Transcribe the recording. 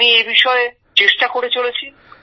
আমি এই বিষয়ে চেষ্টা করে চলেছি